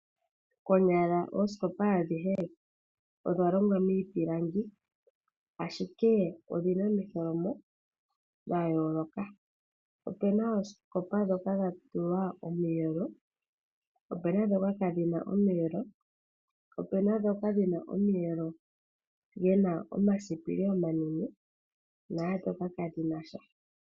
Konyala oosikopa adhihe odha longwa miipilangi ashike odhi na omitholomo dha yooloka. Opuna oosikopa ndhoka dha tulwa omiyelo, opu na ndhoka kadhi na omiyelo, opu na ndhoka dhi na omiyelo dhi na omasipili omanene naandhoka kadhi na sha.